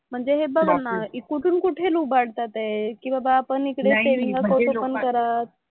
म्हणजे हे बघ आहे ना की कुठून कुठे लुबाडतात आहे की बाबा आपण इकडे सेव्हिन्ग अकाउंट ओपन करावं,